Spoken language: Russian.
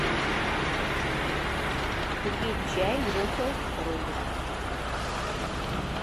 купи чай гринфилд ройбуш